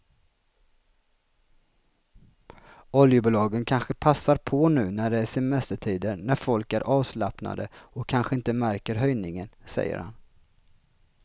Oljebolagen kanske passar på nu när det är semestertider när folk är avslappnade och kanske inte märker höjningen, säger han.